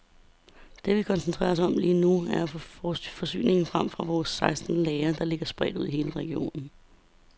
Det vi koncentrerer os om lige nu, er at få forsyninger frem fra vores seksten lagre, der ligger spredt i hele regionen.